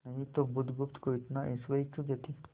नहीं तो बुधगुप्त को इतना ऐश्वर्य क्यों देते